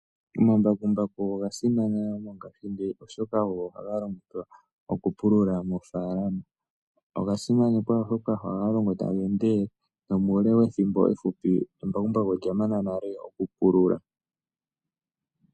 Omambakumbaku ogo oga simana mongashingeyi. Oshoka ogo haga longithwa okupulula moofalama. Oga simanekwa oshoka ohaga longo taga endelele nomuule wethimbo efupi embakumbaku olya mana nale oku pulula